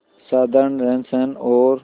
साधारण रहनसहन और